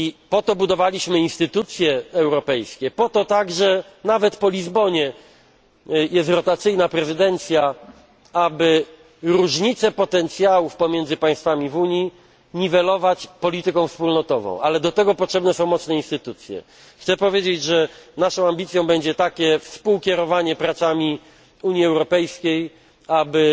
Po to budowaliśmy instytucje europejskie, po to także nawet po Lizbonie jest rotacyjna prezydencja, aby różnice potencjałów pomiędzy państwami Unii niwelować polityką wspólnotową, ale do tego potrzebne są mocne instytucje. Naszą ambicją będzie takie współkierowanie pracami Unii Europejskiej,